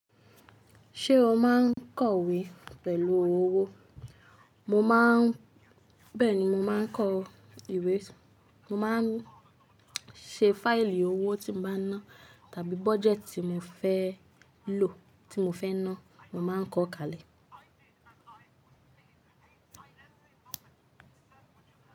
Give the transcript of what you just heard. Ṣé o máa ń kọ ìwé pẹ̀lú owó? Bẹ́ẹ̀ni, mo má ń kọ ìwé, mo má ń ṣe fáìlì owó tí mo bá ń ná tàbí budget tí mo fẹ́ lò tí mo fẹ́ ná, mo má ń kọ kalẹ̀.